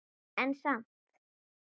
En samt